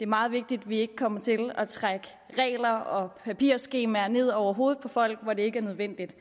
meget vigtigt vi ikke kommer til at trække regler og papirskemaer ned over hovedet på folk hvor det ikke er nødvendigt